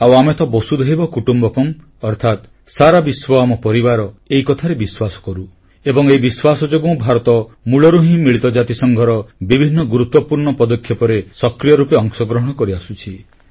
ଆଉ ଆମେ ତ ବସୁଧୈବ କୁଟୁମ୍ବକମ୍ ଅର୍ଥାତ ସାରା ବିଶ୍ୱ ଆମ ପରିବାର ଏହି କଥାରେ ବିଶ୍ୱାସ କରୁ ଏବଂ ଏହି ବିଶ୍ୱାସ ଯୋଗୁଁ ଭାରତ ମୂଳରୁ ହିଁ ମିଳିତ ଜାତିସଂଘର ବିଭିନ୍ନ ଗୁରୁତ୍ୱପୂର୍ଣ୍ଣ ପଦକ୍ଷେପରେ ସକ୍ରିୟ ରୂପେ ଅଂଶଗ୍ରହଣ କରିଆସୁଛି